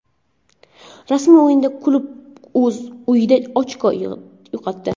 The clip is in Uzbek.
Rasmiy o‘yinda klub o‘z uyida ochko yo‘qotdi.